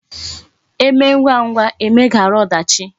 E mee ngwa ngwa, e meghara odachi